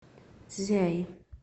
цзяи